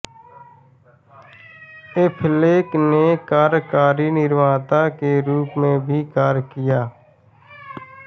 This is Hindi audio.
एफ़लेक ने कार्यकारी निर्माता के रूप में भी कार्य किया